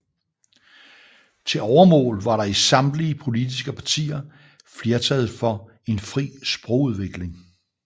Til overmål var der i samtlige politiske partier flertal for en fri sprogudvikling